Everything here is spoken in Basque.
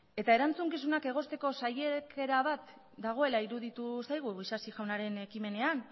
eta erantzukizunak egozteko saiakera bat dagoela iruditu zaigu isasi jaunaren ekimenean